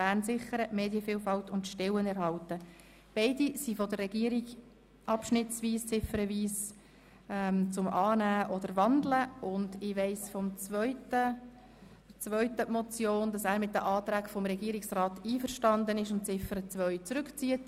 Beide Vorstösse wurden von der Regierung ziffernweise beantwortet, und ich weiss vom Sprecher der zweiten Motion, jener der SP-JUSO-PSA, dass er mit den Anträgen des Regierungsrats einverstanden ist und Ziffer 2 zurückzieht.